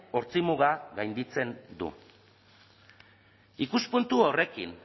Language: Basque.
ortzimuga gainditzen du ikuspuntu horrekin